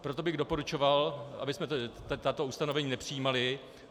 Proto bych doporučoval, abychom tato ustanovení nepřijímali.